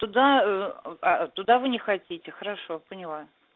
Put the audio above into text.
оттуда вы не хотите хорошо поняла